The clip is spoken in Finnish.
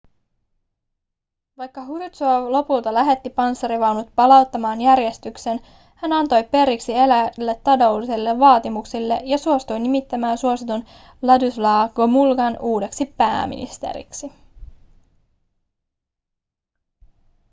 vaikka hruštšov lopulta lähetti panssarivaunut palauttamaan järjestyksen hän antoi periksi eräille taloudellisille vaatimuksille ja suostui nimittämään suositun władysław gomułkan uudeksi pääministeriksi